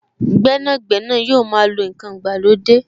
Gbẹ́nàgbẹ́nà yóò máa lo n kan ìgbàlódé